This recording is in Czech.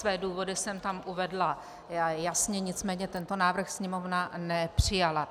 Své důvody jsem tam uvedla jasně, nicméně tento návrh Sněmovna nepřijala.